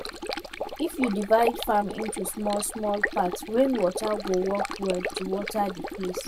if you divide farm into smallsmall part rainwater go work well to water the place